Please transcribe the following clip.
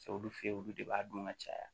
olu fe ye olu de b'a dun ka caya